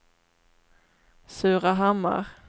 Surahammar